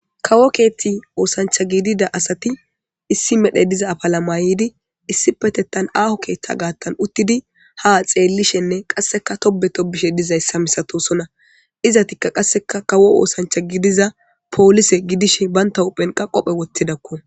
kawo keethti oosancha giidida asati issi medhe diza afala mayidi issipetettan aaho keeththa gaattan uttidi ha xeellishenne qasseka tobe tobishe dizayssa misatosona. izatikka qasseka kawo oosancha gidiza poolise gidishe banta huphenqa qophe wottidakko.